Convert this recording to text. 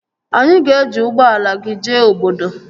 Anyị ga-eji ụgbọala gị jee obodo